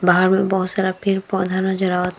बाहर में बहुत सारा पेड़-पौधा नज़र आवत --